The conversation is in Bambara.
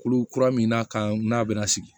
Kolo kura min n'a kan n'a bɛna sigi